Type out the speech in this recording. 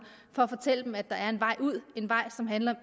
for at fortælle dem at der er en vej ud en vej som handler